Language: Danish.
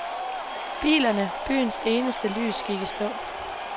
Bilerne, byens eneste lys, gik i stå.